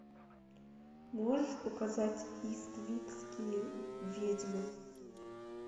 можешь показать иствикские ведьмы